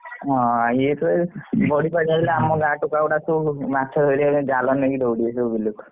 ହଁ ଇଏ ତ ବଡି ପାଣି ହେଲେ ଆମ ଗାଁ ଟୋକା ଗୁଡାକ ସବୁ ଜାଲ ନେଇ ଦୌଡ଼ିବେ ମାଛ ଧରିବାକୁ ବିଲ କୁ।